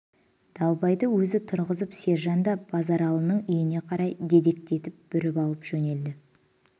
далбайды өзі тұрғызып сержан да базаралының үйіне қарай дедектетіп бүріп алып жөнелді